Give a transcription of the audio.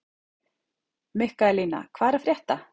Mikaelína, hvað er að frétta?